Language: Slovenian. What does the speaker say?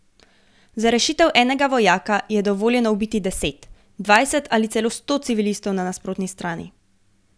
Za rešitev enega vojaka je dovoljeno ubiti deset, dvajset ali sto civilistov na nasprotni strani.